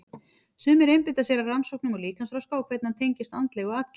Sumir einbeita sér að rannsóknum á líkamsþroska og hvernig hann tengist andlegu atgervi.